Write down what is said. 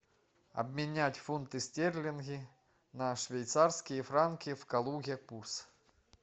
обменять фунты стерлинги на швейцарские франки в калуге курс